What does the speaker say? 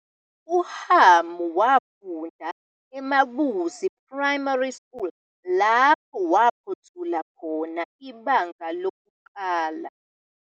UHamu wafunda eMabuzi Primary School, lapho aphothula khona iBanga 1.